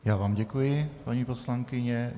Já vám děkuji, paní poslankyně.